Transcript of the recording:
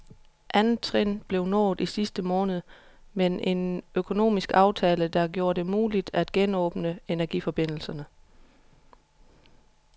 Andet trin blev nået i sidste måned med en økonomisk aftale, der gjorde det muligt at genåbne energiforbindelserne.